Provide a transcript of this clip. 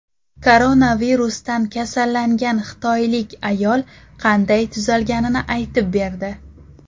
Koronavirusdan kasallangan xitoylik ayol qanday tuzalganini aytib berdi.